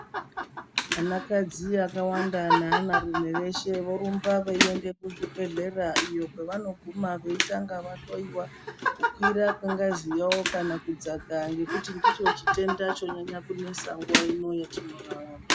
Anakadzi akawanda neanarume veshe vorumbe veinda kuchibhedhlera iyo kwevanoguma veitanga vahloyiwa kukwira kwengaziyo kana kudzaka ngekuti ndoochitenda chonyanye kunesa nguwa ino yatinorarama.